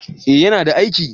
eh ya na aiki